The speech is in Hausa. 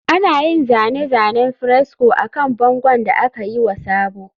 Ana yin zane-zanen fresco akan bangon da aka yi wa sabo